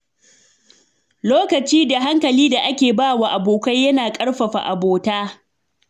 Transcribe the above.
Lokaci da hankali da ake ba wa abokai na ƙarfafa abota.